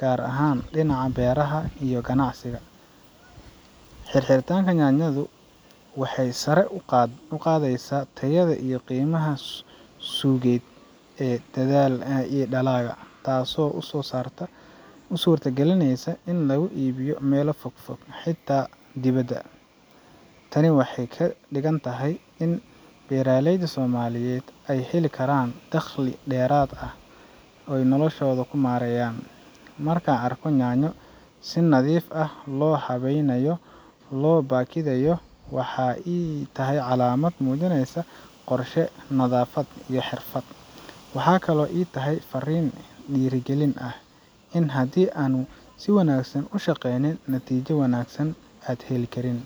gaar ahaan dhinaca beeraha iyo ganacsiga. xirxiritaanku yaanyadu waxay sare u qaadaysaa tayada iyo qiimaha suuqeed ee dalagga, taasoo u suurta galinaysa in lagu iibiyo meelo fogfog, xitaa dibadda. Tani waxay ka dhigan tahay in beeraleyda Soomaaliyeed ay heli karaan dakhli dheeraad ah oo ay noloshooda ku horumariyaan. Marka aan arko yaanyo si nadiif ah oo habaysan loo baakadayo, waxay ii tahay calaamad muujinaysa qorshe, nadaafad, iyo xirfad. Waxaa kaloo ii tahay fariin dhiirrigelin ah in haddii aan si wanaagsan u shaqeynin, natiijada wanaagsan aad heli karin.